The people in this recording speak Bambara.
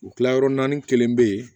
U kilayɔrɔ naani kelen bɛ yen